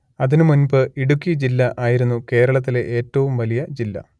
അതിനു മുൻപ് ഇടുക്കി ജില്ല ആയിരുന്നു കേരളത്തിലെ ഏറ്റവും വലിയ ജില്ല